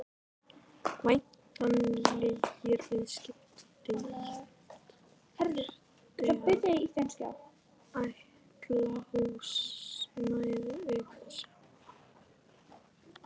Væntanlegri viðskiptadeild þyrfti að ætla húsnæði auk þessa.